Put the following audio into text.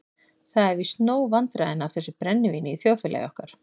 Það eru víst nóg vandræðin af þessu brennivíni í þjóðfélagi okkar.